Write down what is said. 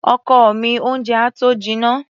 Ọkọ mi, oúnjẹ á tó jinná.